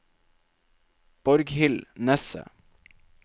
Borghild Nesset